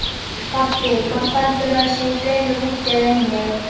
Pabbi hvort heldurðu að séu fleiri úti eða inni?